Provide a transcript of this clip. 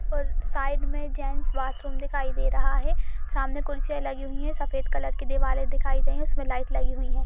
और साइड में gents bathroom दिखाई दे रहा है। सामने कुर्सियां लगी हुई हैं सफेद कलर की दिवाले दिखाई दे रही हैं उसमें लाईट लगी हुई हैं।